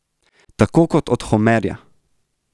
Tako kot od Homerja.